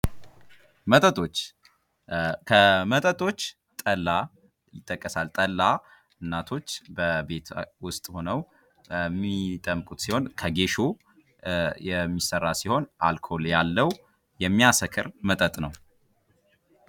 መጠጦች ከመጠጦች ጠላ ይጠቀሳል ። ጠላ እናቶች በቤት ውስጥ ሁነው የሚጠምቁት ሲሆን ከጌሾ የሚሰራ ሲሆን አልኮል ያለው የሚያሰክር መጠጥ ነው።